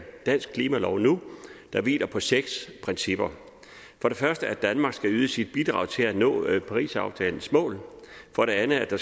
dansk klimalov nu der hviler på seks principper for det første at danmark skal yde sit bidrag til at nå parisaftalens mål for det andet at